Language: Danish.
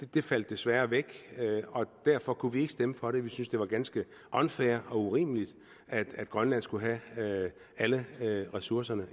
det faldt desværre væk og derfor kunne vi ikke stemme for det vi synes at det var ganske unfair og urimeligt at grønland skulle have alle ressourcerne